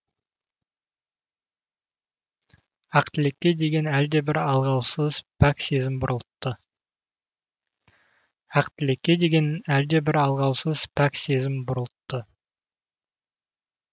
ақтілекке деген әлдебір алғаусыз пәк сезім бұрылтты